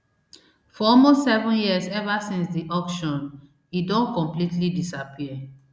for almost seven years ever since di auction e don completely disappear